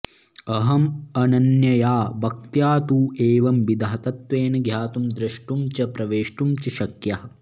अहम् अनन्यया भक्त्या तु एवंविधः तत्त्वेन ज्ञातुं द्रष्टुं च प्रवेष्टुं च शक्यः